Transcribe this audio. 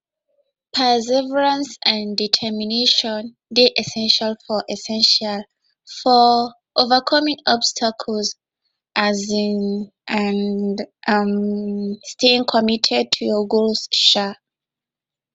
perseverance and determination dey essential for essential for overcoming obstacles um and um staying committed to your goals um